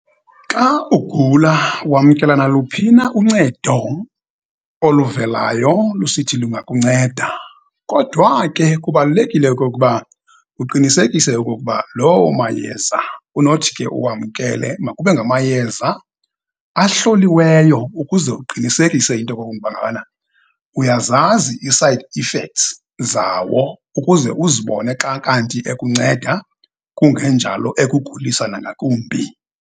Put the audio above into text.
Xa ugula, wamkela naluphi na uncedo oluvelayo lusithi lungakunceda, kodwa ke, kubalulekile okokuba uqinisekise okokuba loo mayeza unothi ke uwamkele makube ngamayeza ahloliweyo, ukuze uqinisekise into yokokuba ngabana uyazazi i-side effects zawo, ukuze uzibone xa kanti ekunceda, kungenjalo ekuguliswa nangakumbi.